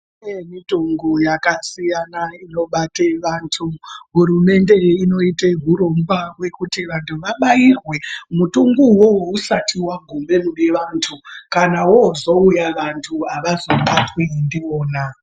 Kune mitungu yakasiyana inobate vantu hurumende inoite hurongwa hwekuti vantu vabairwe mutungu uwowo usati wagume kune vantu, kana wozouya vantu havazobatwi ndiwona.